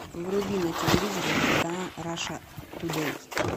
вруби на телевизоре телеканал раша тудей